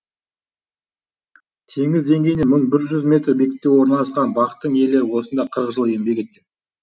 теңіз деңгейінен мың бір жүз метр биіктікте орналасқан бақтың иелері осында қырық жыл еңбек еткен